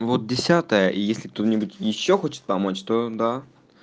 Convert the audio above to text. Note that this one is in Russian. вот десятое если кто-нибудь ещё хочет помочь то да